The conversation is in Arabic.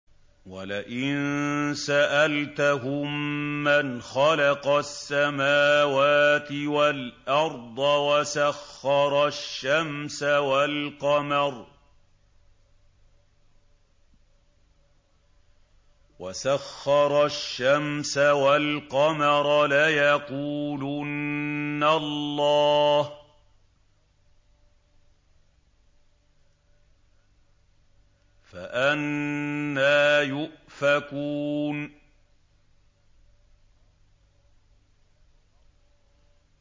وَلَئِن سَأَلْتَهُم مَّنْ خَلَقَ السَّمَاوَاتِ وَالْأَرْضَ وَسَخَّرَ الشَّمْسَ وَالْقَمَرَ لَيَقُولُنَّ اللَّهُ ۖ فَأَنَّىٰ يُؤْفَكُونَ